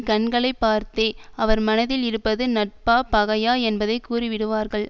கண்களை பார்த்தே அவர் மனத்தில் இருப்பது நட்பா பகையா என்பதை கூறிவிடுவார்கள்